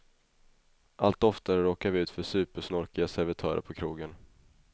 Allt oftare råkar vi ut för supersnorkiga servitörer på krogen.